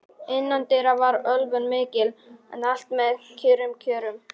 Innandyra var ölvun mikil, en allt með kyrrum kjörum.